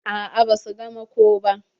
A'a ba su gama ko ba.